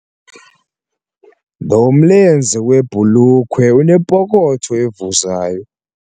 Lo mlenze webhulukhwe unepokotho evuzayo.